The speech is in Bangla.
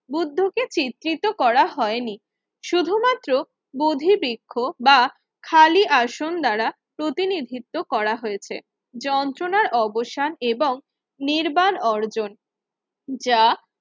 বুদ্ধকে চিত্রিত করা হয়নি। শুধুমাত্র বোধিবৃক্ষ বা খালি আসন দ্বারা প্রতিনিধিত্ব করা হয়েছে। যন্ত্রণার অবসান এবং নির্মাণ অর্জন যা